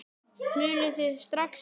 Smulluð þið strax saman?